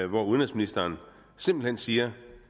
hvori udenrigsministeren simpelt hen siger